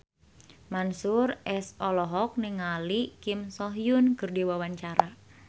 Mansyur S olohok ningali Kim So Hyun keur diwawancara